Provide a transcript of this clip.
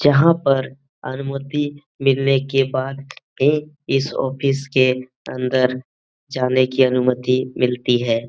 जहाँ पर अनुमति मिलने के बाद ये इस ऑफिस के अंदर जाने की अनुमति मिलती है।